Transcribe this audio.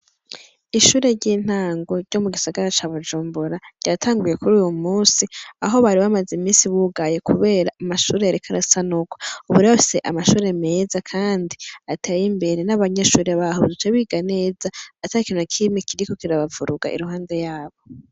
Ishure ry'intango ryo mu gisagara ca bujumbura, ryatanguye kuruw'umunsi aho bari bamaze iminsi bugaye, kuber amashure yariko arasanurwa, ubu rero bafise amashure meza kandi atey'imbere ,kandi n'abanyeshure baho baca biga neza atakintu nakimwe kiriko kirabavuruga iruhande yabo.